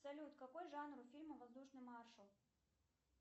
салют какой жанр у фильма воздушный маршал